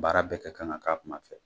Baara bɛɛ kɛ kan ka k'a kuma fɛ.